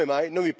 Come mai?